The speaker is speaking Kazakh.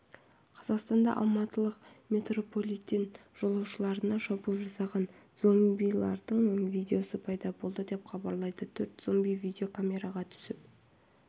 қазанда алматылық метрополитен жолаушыларына шабуыл жасаған зомбилардың видеосы пайда болды деп хабарлайды төрт зомби видеокамераға түсіп